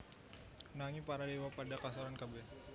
Nanging para déwa padha kasoran kabèh